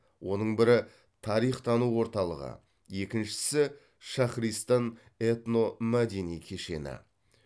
оның бірі тарих тану орталығы екіншісі шахристан этномәдени кешені